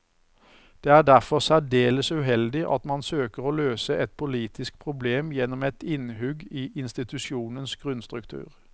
Det er derfor særdeles uheldig at man søker å løse et politisk problem gjennom et innhugg i institusjonens grunnstruktur.